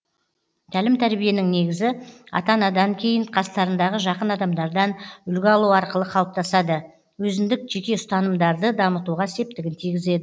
тәлім тәрбиенің негізі ата анадан кейін қастарындағы жақын адамдардан үлгі алу арқылы қалыптасады өзіндік жеке ұстанымдарды дамытуға септігін тигізеді